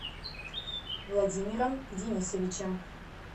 владимиром денисовичем